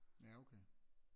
Jaer okay